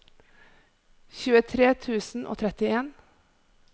tjuetre tusen og trettien